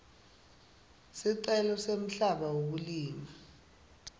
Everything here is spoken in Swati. sicelo semhlaba wekulima